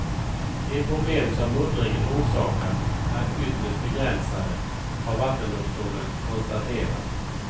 De problem som muddringen orsakar är ytterst begränsade, har vattendomstolen konstaterat.